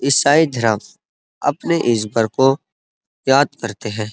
ईसाई धरम अपने इसबर को याद करते हैं।